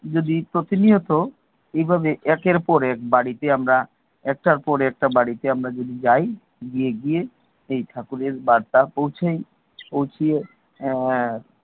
যদি প্রতিনিয়ত, এভাবে একের পর এক বাড়িতে, একটার পর একটা বাড়িতে আমরা যাই এই ঠাকুরের কার্ডটা পৌঁছাই, পৌঁছিয়ে আহ